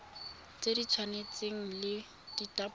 tse di tshwanang le ditapole